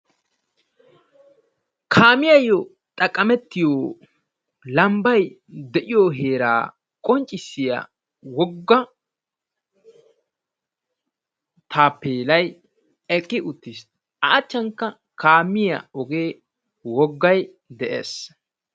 kaamiyayyo xaqqamettiyo lambba de'iyo heera qonccissiyaa woga Tappelay eqqi uttiis; a achchankka kaamiya oge wogay de'ees.